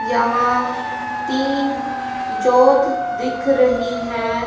यहां तीन ज्योत दिख रही है।